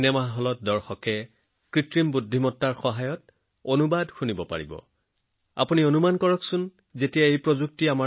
cinema হলত সাধাৰণ মানুহে এআইৰ সহায়ত সঠিক সময়ত নিজৰ নিজৰ ভাষণ ডায়লগ শুনিব পাৰিব